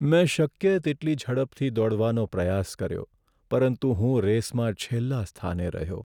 મેં શક્ય તેટલી ઝડપથી દોડવાનો પ્રયાસ કર્યો પરંતુ હું રેસમાં છેલ્લા સ્થાને રહ્યો.